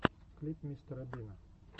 клип мистера бина